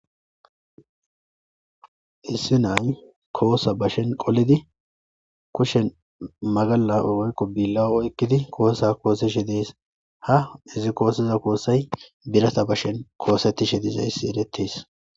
Issi nay koosa bashen qolidi kushen magala woykqo billa ekkidi koosa koosishe dees ha izi koosiza koosay birata bashen koosetishe diiza issi eretes.